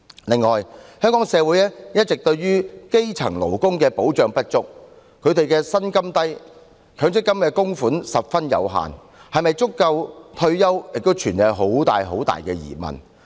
另外，香港社會一直對於基層勞工保障不足，他們的薪金低，強積金供款十分有限，是否足夠應付退休生活亦有很大疑問。